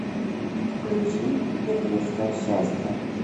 включи еврейское счастье